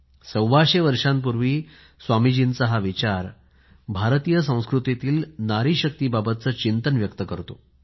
सव्वाशे वर्षापूर्वी स्वामीजीचा विचार भारतीय संस्कृतीतला नारी शक्तीबाबतचे चिंतन व्यक्त करतो